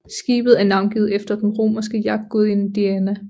Skibet er navngivet efter den romerske jagtgudinde Diana